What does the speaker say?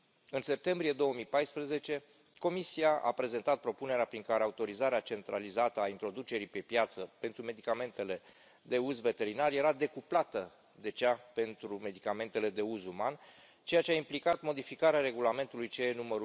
În septembrie 2014, Comisia a prezentat propunerea prin care autorizarea centralizată a introducerii pe piață pentru medicamentele de uz veterinar era decuplată de cea pentru medicamentele de uz uman, ceea ce a implicat modificarea Regulamentului CE nr.